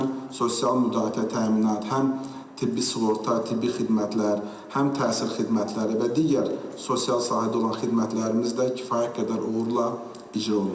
Həm sosial müdafiə təminatı, həm tibbi sığorta, tibbi xidmətlər, həm təhsil xidmətləri və digər sosial sahədə olan xidmətlərimiz də kifayət qədər uğurla icra olundu.